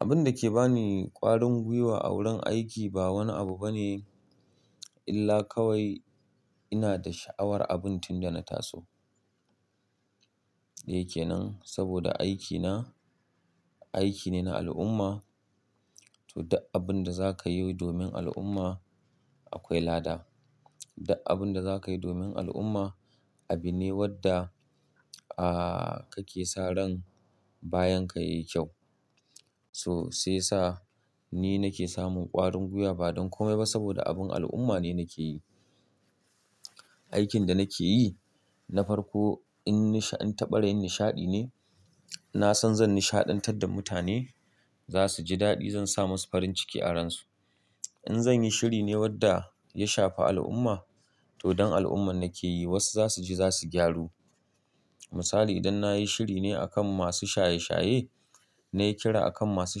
Abin da ke ba ni ƙwarin gwiwa a wurin aiki ba wani abu bane illa kawai ina da sha'awar abun tun da na taso. Shike nan saboda aikina, aiki ne na al'umma to da abin da za ka yo domin al'umma akwai lada. Dak abin da za ka yi domin al'umma abu ne wadda aa kake sa ran bayan ka yayi kyau. So sai sa ni nake samun ƙwarin gwiwa ba don komai ba saboda abin al'umma ne nake yi. Aikin da nake yi na farko in nisha-- in taɓarayin nishaɗi ne. Na san zan nishaɗantar da mutane, za su ji daɗi, zan sa musu farin ciki a ransu. In zanyi shiri ne wadda ya shafa al'umma to don al'umma nake yi. Wasu za su je za su gyaru. Misali idan nayi shiri ne akan masu shaye shaye, nayi kira akan masu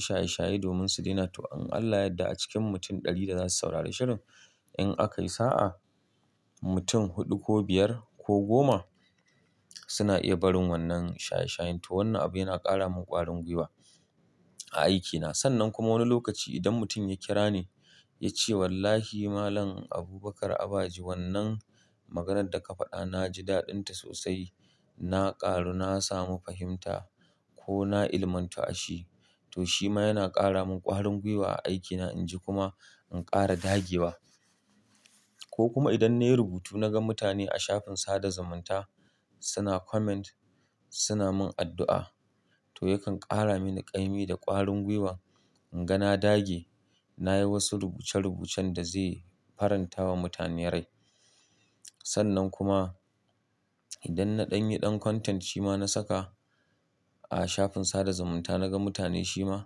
shaye shaye domin su daina to in Allah yadda a cikin mutum ɗari da za su saurari shirin in aka yi sa'a, mutum huɗu ko biyar ko goma suna iya barin wannan shaye shayen to wannan abu yana ƙara min ƙwarin gwiwa a aikina. Sannan kuma wani lokaci idan mutum ya kira ni ya ce wallahi Malam Abubakar Abaji wannan maganar da ka faɗa na ji daɗinta sosai. Na ƙaru na samu fahimta ko na ilimanta a shi to shi ma yana ƙara min ƙwarin gwiwa a aikina inji kuma in ƙara dage wa. Ko kuma idan nayi rubutu naga mutane a shafin sada zumunta suna comment, suna mun addu'a to yakan ƙara mini ƙaimi da ƙwarin gwiwa. In ga na dage, nayi wasu rubuce rubucen da zai faranta wa mutane rai. Sannan kuma idan na ɗan yi ɗan content shi ma na saka a shafin sada zumunta naga mutane shi ma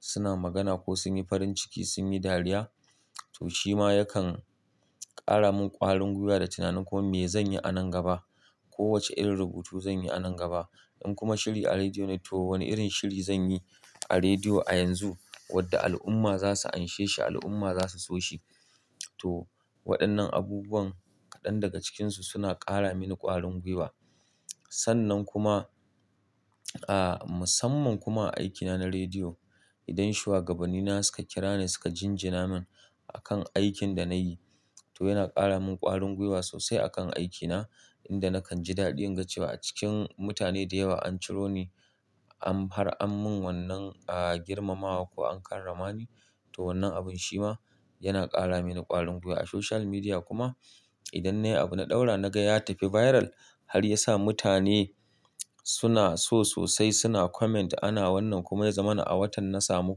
suna magana ko sun yi farin ciki, sun yi dariya to shi ma yakan ƙara mun ƙwarin gwiwa da tunanin komai me zanyi a nan gaba. Ko wace irin rubutu zanyi a nan gaba. In kuma shiri a rediyo ne to wane irin shiri zanyi a rediyo a yanzu wadda al'umma za su anshe shi, al'umma za su so shi. To waɗannan abubuwan kaɗan daga cikinsu suna ƙara mini ƙwarin gwiwa. Sannan kuma aa musamman kuma a aikina na rediyo idan shugabanni na suka kira ni suka jinjina min akan aikin da nayi to yana ƙara mun ƙwarin gwiwa sosai akan aikina inda nakan ji daɗi inga cewa a cikin mutane da yawa an ciro ni an far-- an mun wannan aa girmamawa ko an karramani to wannan abun shi ma yana ƙara mini ƙwarin gwiwa. A social media kuma idan nayi abu na ɗaura naga ya tafi viral har ya sa mutane suna so sosai suna comment ana wannan kuma ya zama na awartan na samu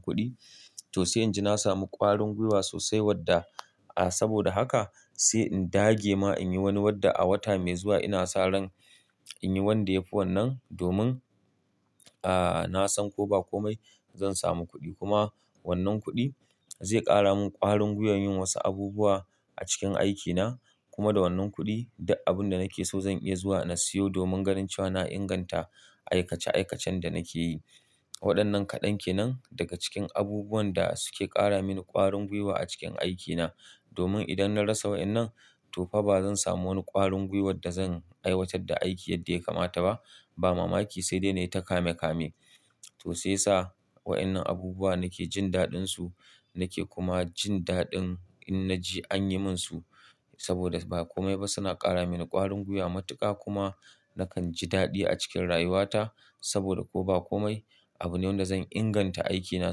kuɗi to sai inji na samu ƙwarin gwiwa sosai wadda aa saboda haka sai in dage ma in yi wani wadda a wata mai zuwa ina sa ran in yi wanda yafi wannan domin aa na san ko ba komai zan samu kuɗi kuma wannan kuɗi zai ƙara mun ƙwarin gwiwa yin wasu abubuwa a cikin aikina kuma da wannan kuɗi da abin da nake so zan iya zuwa na siyo domin ganin cewa na inganta aikace aikacen da nake yi. Waɗannan kaɗan ke nan daga cikin abubuwan da suke ƙara mini ƙwarin gwiwa a cikin aikina domin idan na rasa wa'innan to fa ba zan samu wani ƙwarin gwiwar da zan aiwatar da aiki yadda ya kamata ba. Ba mamaki sai dai na yi ta kame kame. To sai sa wa'innan abubuwa nake jin daɗinsu nake kuma jin daɗin in na je an yi mun su saboda ba komai ba suna ƙara mini ƙwarin gwiwa. Matuƙa kuma nakan ji daɗi a cikin rayuwata saboda ko ba komai abu ne wanda zan inganta aikina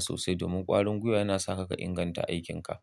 sosai domin ƙwarin gwiwa yana sa ka inganta aikinka.